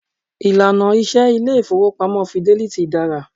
Ìlànà iṣẹ ilé ìfọwọ́pamo Fidelity dára.